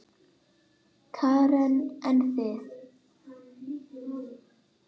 Karen: En þið?